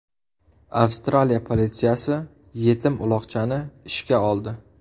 Avstraliya politsiyasi yetim uloqchani ishga oldi.